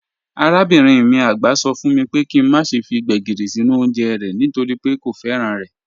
Arabinrin mi àgbà sọ fún mi pé kí n má ṣe fi Gbegírí sínú oúnjẹ rẹ̀ nítorí pé kò fẹ́ràn rẹ̀.